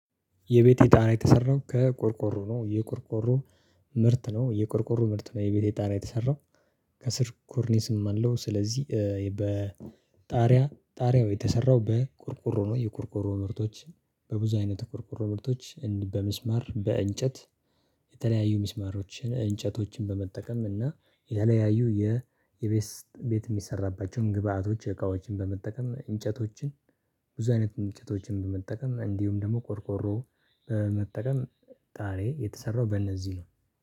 የቤቴ ጣራ የተሰራው ከቆርቆሮ ነው። የቆርቆሮ ምርት ነው የቆርቆሮ ምርት ነው። የቤቴ ጣና የተሰራው ከስር ኮርኒዝም አለው። ስለዚህ በጣሪያ ጣሪያው የተሰራው በቁርቁሮ ነው። የቁርቁሮ ምርቶች በብዙ አይነት ቁርቁሮ ምርቶች በመስመር በእንጨት የተለያዩ ሚስማሮችን እንጨቶችን በመጠቀም እና የተለያዩ የቤስት ቤት የሚሰራባቸውን ግብአቶች እቃዎችን በመጠቀም እንጨቶችን ብዙ አይነት እንጨቶችን በመጠቀም እንዲሁም ደግሞ ቆርቆሮ በመጠቀም። ጣሬ የተሰራው በእነዚህ ነው።